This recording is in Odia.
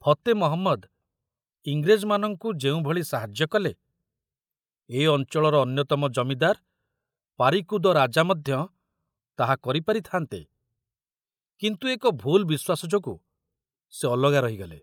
ଫତେ ମହମ୍ମଦ ଇଂରେଜମାନଙ୍କୁ ଯେଉଁଭଳି ସାହାଯ୍ୟ କଲେ, ଏ ଅଞ୍ଚଳର ଅନ୍ୟତମ ଜମିଦାର ପାରିକୁଦ ରାଜା ମଧ୍ୟ ତାହା କରିପାରିଥାନ୍ତେ, କିନ୍ତୁ ଏକ ଭୁଲ ବିଶ୍ୱାସ ଯୋଗୁ ସେ ଅଲଗା ରହିଗଲେ।